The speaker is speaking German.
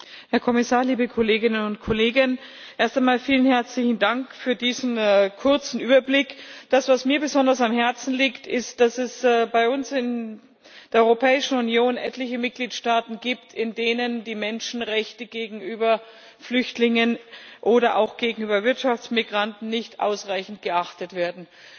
Herr Präsident, Herr Kommissar, liebe Kolleginnen und Kollegen! Erst einmal vielen herzlichen Dank für diesen kurzen Überblick. Mir liegt besonders am Herzen, dass es bei uns in der Europäischen Union etliche Mitgliedstaaten gibt, in denen die Menschenrechte gegenüber Flüchtlingen oder auch gegenüber Wirtschaftsmigranten nicht ausreichend geachtet werden.